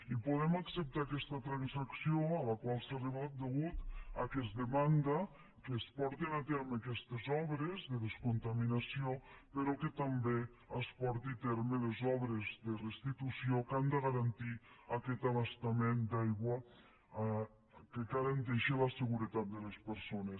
i podem acceptar aquesta transacció a la qual s’ha arribat a causa que es demanda que es portin a terme aquestes obres de descontaminació però que també es portin a terme les obres de restitució que han de garantir aquest abastament d’aigua que garanteixi la seguretat de les persones